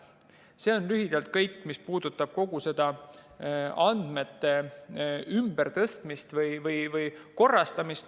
See on lühidalt kõik, mis puudutab andmete ümbertõstmist või korrastamist.